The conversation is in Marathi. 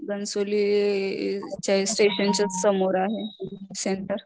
घणसोलीच्या स्टेशनच्या समोर आहे सेंटर